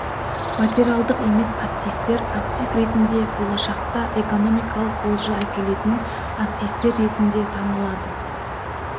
материалдық емес активтер актив ретінде болашақта экономикалық олжа әкелетін активтер ретінде танылады